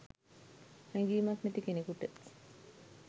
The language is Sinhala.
හැඟීමක් නැති කෙනෙකුට